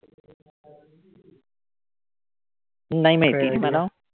नाही माहिती मला.